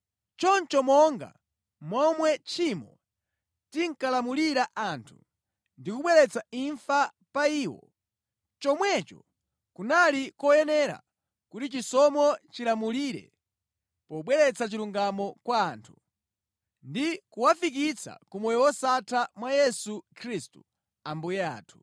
Choncho monga momwe tchimo linkalamulira anthu ndi kubweretsa imfa pa iwo, chomwecho kunali koyenera kuti chisomo chilamulire pobweretsa chilungamo kwa anthu, ndi kuwafikitsa ku moyo wosatha mwa Yesu Khristu Ambuye athu.